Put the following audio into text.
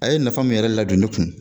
A ye nafa min yɛrɛ ladon ne kun